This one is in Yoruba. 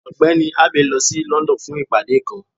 Ọgbẹni Abey lọ sí London fun ìpade kan.